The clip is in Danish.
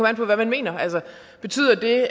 an på hvad man mener altså betyder det